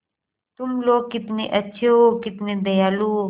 तुम लोग कितने अच्छे हो कितने दयालु हो